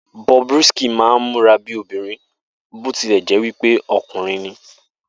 Bobrisky máa ń múra bí obìnrin bó ti lẹ̀ jẹ́ wí pé ọkùnrin